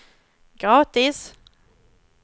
gratis